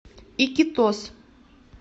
икитос